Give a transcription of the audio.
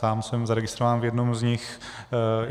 Sám jsem zaregistrován v jednom z nich.